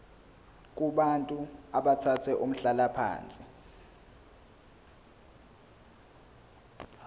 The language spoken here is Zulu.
kubantu abathathe umhlalaphansi